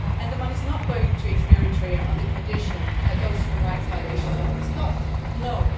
and the money is not going to Eritrea on the condition that those human rights violations would be stopped, no.